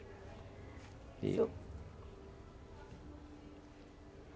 E eu?